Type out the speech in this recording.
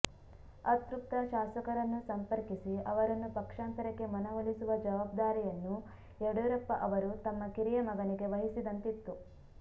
ಅತೃಪ್ತ ಶಾಸಕರನ್ನು ಸಂಪರ್ಕಿಸಿ ಅವರನ್ನು ಪಕ್ಷಾಂತರಕ್ಕೆ ಮನವೊಲಿಸುವ ಜವಾಬ್ದಾರಿಯನ್ನು ಯಡಿಯೂರಪ್ಪ ಅವರು ತಮ್ಮ ಕಿರಿಯ ಮಗನಿಗೆ ವಹಿಸಿದ್ದಂತಿತ್ತು